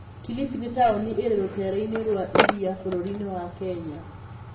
Kilifi nĩ taũni ĩrĩ rũtere-inĩ rwa iria bũrũri-inĩ wa Kenya.